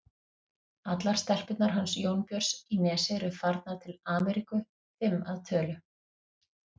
Allar stelpurnar hans Jónbjörns í Nesi eru farnar til Ameríku, fimm að tölu.